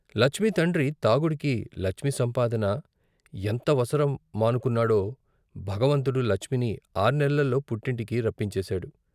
లచ్మి తండ్రి తాగుడికి లచ్మి సంపాదన ఎంతవసరం మనుకున్నాడో భగవంతుడు లచ్మిని ఆర్నెల్లలో పుట్టింటికి రప్పించేశాడు.